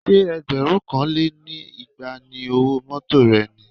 Ṣé ẹgbẹ̀rún kan lé ní igba ni owó mọ́tọ̀ rẹ ni?